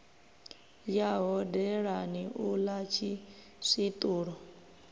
ya hodelani u ḽa tshiswiṱulo